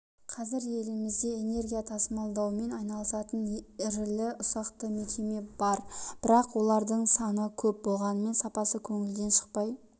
қазір елімізде энергия тасымалдаумен айналысатын ірілі-ұсақты мекеме бар бірақ олардың саны көп болғанымен сапасы көңілден шықпай